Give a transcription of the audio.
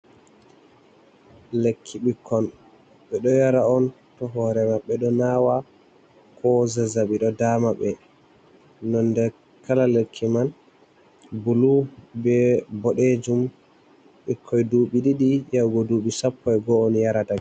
Lekki ɓikkon, ɓe ɗo yara on to hoore maɓɓe ɗo naawa ko zazzaɓi ɗo daama ɓe, nonnde kala lekki man bulu bee boɗeejum ɓikkoy duuɓi ɗiɗi yahugo duuɓi sappo e go'o on yarata